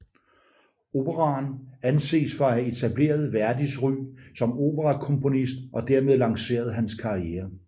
Operaen anses for at have etableret Verdis ry som operakomponist og dermed lanceret hans karriere